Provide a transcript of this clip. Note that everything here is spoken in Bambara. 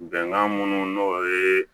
Bɛnkan minnu n'o ye